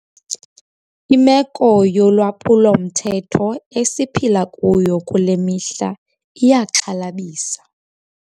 Imeko yolwaphulo-mthetho esiphila kuyo kule mihla iyaxhalabisa.